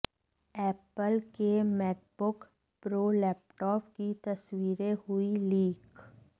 Apple के MacBook Pro laptop की तस्वीरें हुई लीक